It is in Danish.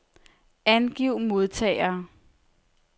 Angiv modtagere.